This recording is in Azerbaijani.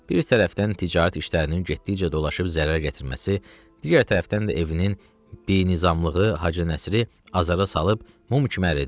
Bir tərəfdən ticarət işlərinin getdikcə dolaşıb zərər gətirməsi, digər tərəfdən də evinin binizamlığı Hacı Nəsiri azara salıb mum kimi əridirdi.